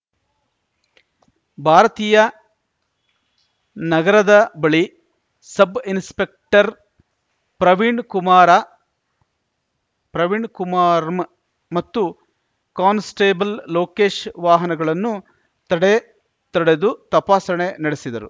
ಭಾರತೀಯಾ ನಗರದ ಬಳಿ ಸಬ್‌ಇನ್ಸ್‌ಪೆಕ್ಟರ್‌ ಪ್ರವೀಣ್‌ಕುಮಾರಪ್ರವೀಣ್‌ಕುಮಾರ್ ಮತ್ತು ಕಾನ್ಸ್‌ಟೇಬಲ್‌ ಲೋಕೇಶ್‌ ವಾಹನಗಳನ್ನು ತಡೆ ತಡೆದು ತಪಾಸಣೆ ನಡೆಸಿದರು